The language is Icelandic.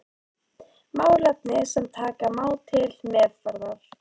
Málefni sem taka má til meðferðar.